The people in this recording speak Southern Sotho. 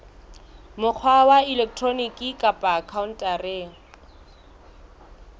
mokgwa wa elektroniki kapa khaontareng